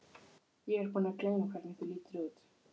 Ég er búin að gleyma hvernig þú lítur út.